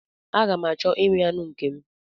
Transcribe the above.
Aga m achọ imi anụ nke m.